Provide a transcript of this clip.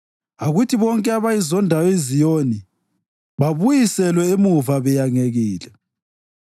Akuthi bonke abayizondayo iZiyoni babuyiselwe emuva beyangekile.